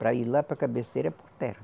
Para ir lá para a cabeceira é por terra.